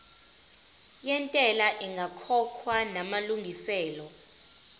yentela ingakakhokhwa namalungiselo